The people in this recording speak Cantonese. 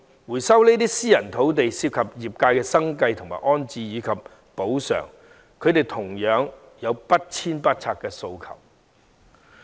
回收這些私人土地涉及業界的生計、安置及補償問題，而他們同樣有不遷不拆的訴求。